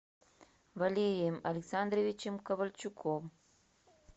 валерием александровичем ковальчуком